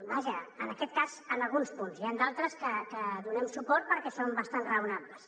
vaja en aquest cas en alguns punts n’hi han altres que hi donem suport perquè són bastant raonables